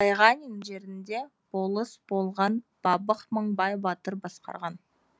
байғанин жерінде болыс болған бабық мыңбай батыр басқарған